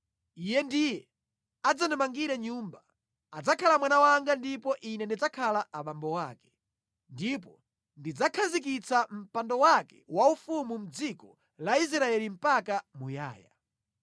Iye ndiye adzandimangire nyumba. Adzakhala mwana wanga ndipo Ine ndidzakhala abambo ake. Ndipo ndidzakhazikitsa mpando wake waufumu mʼdziko la Israeli mpaka muyaya.’ ”